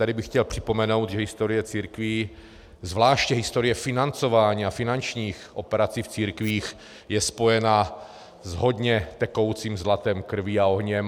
Tady bych chtěl připomenout, že historie církví, zvláště historie financování a finančních operací v církvích, je spojena s hodně tekoucím zlatem, krví a ohněm.